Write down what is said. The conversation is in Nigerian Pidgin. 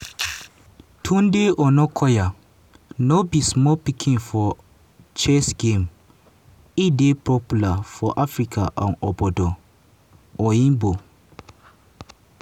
tunde onakoya no be small pikin for chess game e dey popular for africa and obodo oyinbo.